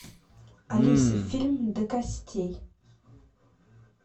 алиса фильм до костей